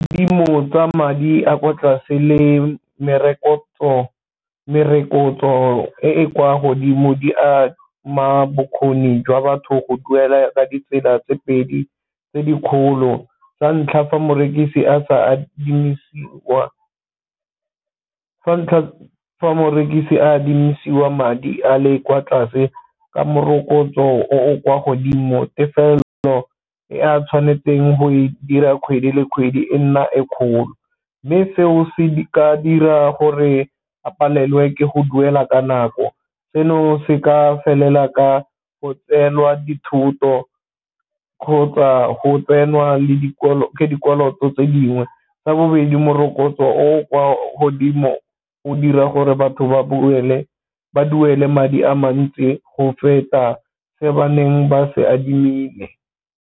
Dikadimo tsa madi a kwa tlase le merokotso e e kwa godimo di a ma bokgoni jwa batho go duela ka ditsela tse pedi tse dikgolo, sa ntlha fa morekisi adimisiwa madi a le kwa tlase ka morokotso o o kwa godimo, tefelo e a tshwanetseng go e dira kgwedi le kgwedi e nna e kgolo. Mme seo se ka dira gore a palelwe ke go duela ka nako, seno se ka felela ka go tseelwa dithoto kgotsa go tsenwa ke dikoloto tse dingwe. Sa bobedi morokotso o o kwa godimo o dira gore batho ba duele madi a mantsi go feta Se baneng ba se adimile.